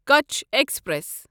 کچھ ایکسپریس